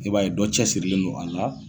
I b'a ye dɔ cɛsirilen no a la.